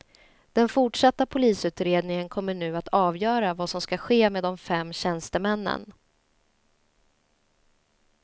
Den fortsatta polisutredningen kommer nu att avgöra vad som ska ske med de fem tjänstemännen.